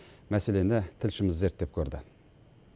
мәселені тілшіміз зерттеп көрді